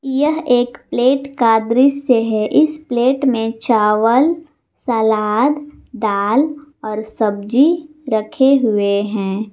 यह एक प्लेट का दृश्य है इस प्लेट में चावल सलाद दाल और सब्जी रखे हुए हैं।